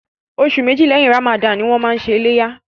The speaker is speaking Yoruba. Oṣù méjì lẹ́yìn Ramadan ni wọ́n máa ṣe iléyá.